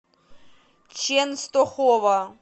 ченстохова